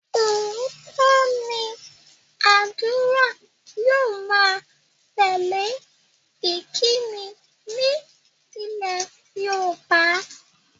Óòtọ́ ni ádùrá yóò má ń tẹ́lè ìkíni ní ilé Yorùbá